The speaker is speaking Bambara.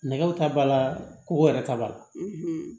Nɛgɛw ta b'a la kow yɛrɛ ta b'a la